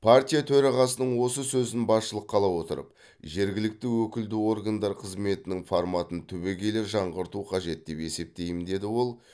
партия төрағасының осы сөзін басшылыққа ала отырып жергілікті өкілді органдар қызметінің форматын түбегейлі жаңғырту қажет деп есептеймін деді ол